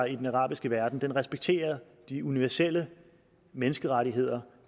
i den arabiske verden respekterer de universelle menneskerettigheder